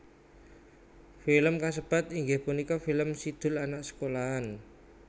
Film kasebat inggih punika film Si Doel Anak Sekolahan